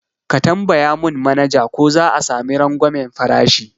Ka tambaya mun manaja ko za'a sami rangwamen farashi